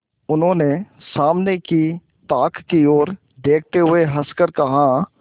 उन्होंने सामने की ताक की ओर देखते हुए हंसकर कहा